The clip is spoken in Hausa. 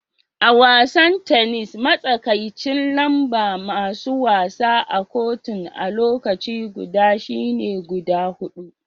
A'wasan tenis, matsakaicin lamba masun wasa a'kotun a lokaci guda shine guda hudu.